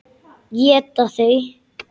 Éta þau?